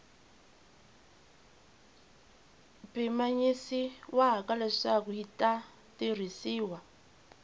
pimanyisiwaka leswaku yi ta tirhisiwa